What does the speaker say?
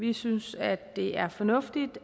vi synes at det er fornuftigt